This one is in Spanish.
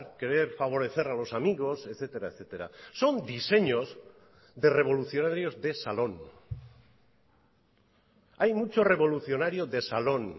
querer favorecer a los amigos etcétera etcétera son diseños de revolucionarios de salón hay mucho revolucionario de salón